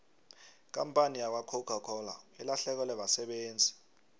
ikampani yakwacoca cola ilahlekelwe basebenzi